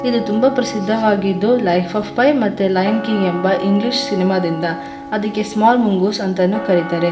ಇದು ತುಂಬ ಪ್ರಸಿದ್ಧವಾಗಿದ್ದು ಲೈಫ್ ಆಫ್ ಪೈ ಮತ್ತು ಲಯನ್ ಕಿಂಗ್ ಎಂಬ ಇಂಗ್ಲಿಷ್ ಸಿನಿಮಾ ದಿಂದ ಅದಿಕ್ಕೆ ಸ್ಮಾಲ್ ಮುಂಗೂಸ್ ಅಂತಾನೂ ಕರಿತಾರೆ.